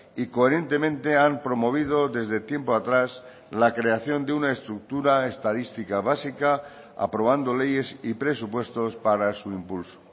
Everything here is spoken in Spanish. y coherentemente han promovido desde tiempo atrás la creación de una estructura estadística básica aprobando leyes y presupuestos para su impulso